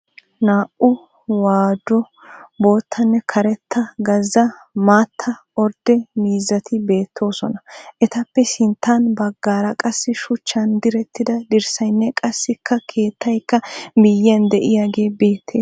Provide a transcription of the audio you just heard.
Naa"u waadu boottanne karetta gazza maatta ordde miizzati beettoosona. Etappe sinttan baggaara qassi shuchchan direttida dirssaynne qassikkakeettayikka miyyiyan diyagee beettes.